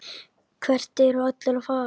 Hvert eru allir að fara?